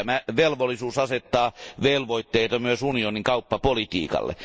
Tämä velvollisuus asettaa velvoitteita myös unionin kauppapolitiikalle.